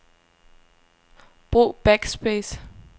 Brug backspace.